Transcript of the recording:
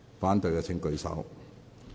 反對的請舉手。